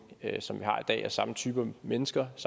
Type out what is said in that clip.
og samme type mennesker og